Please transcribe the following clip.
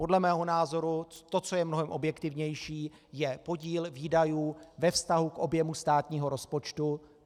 Podle mého názoru to, co je mnohem objektivnější, je podíl výdajů ve vztahu k objemu státního rozpočtu.